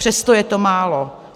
Přesto je to málo.